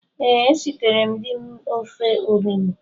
Ee, esiteree m di m ofe onugbu